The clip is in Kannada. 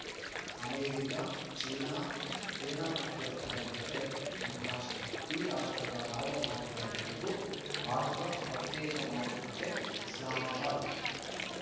ಅಮೆರಿಕ ಚೀನಾ ಸೇನಾ ಮುಖ್ಯಸ್ಥರ ಜತೆ ಸಂಭಾಷಣೆ ಈ ರಾಷ್ಟ್ರಗಳ ರಾಯಭಾರಿಗಳ ಜತೆಗೂ ಬಾಜ್ವಾ ಪ್ರತ್ಯೇಕ ಮಾತುಕತೆ ಇಸ್ಲಾಮಾಬಾದ್‌